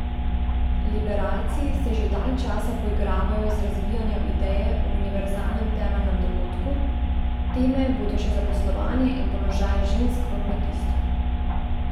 Liberalci se že dalj časa poigravajo z razvijanjem ideje o univerzalnem temeljnem dohodku, teme bodo še zaposlovanje in položaj žensk v kmetijstvu.